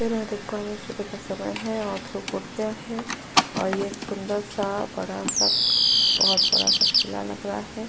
मैं यहाँ देख पा रही हूँ सुबह का समय है और धूप उठ गया है और ये एक सुंदर-सा बड़ा-सा बोहोत बड़ा-सा किला लग रहा है।